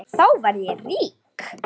Þá verð ég rík.